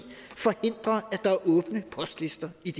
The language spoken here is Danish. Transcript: forhindrer at der er åbne postlister i